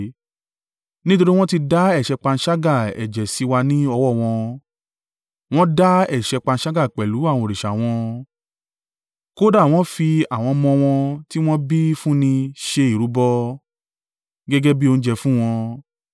nítorí wọn ti dá ẹ̀ṣẹ̀ panṣágà ẹ̀jẹ̀ sì wà ní ọwọ́ wọn. Wọn dá ẹ̀ṣẹ̀ panṣágà pẹ̀lú àwọn òrìṣà wọn; kódà wọ́n fi àwọn ọmọ wọn tí wọn bí fún ni ṣe ìrúbọ, gẹ́gẹ́ bí oúnjẹ fún wọn.